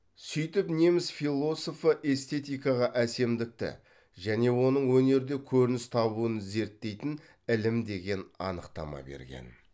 сөйтіп неміс философы эстетикаға әсемдікті және оның өнерде көрініс табуын зерттейтін ілім деген анықтама берген